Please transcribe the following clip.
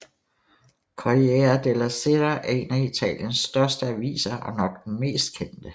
Corriere della Sera er én af Italiens største aviser og nok den mest kendte